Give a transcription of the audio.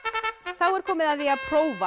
er komið að því að prófa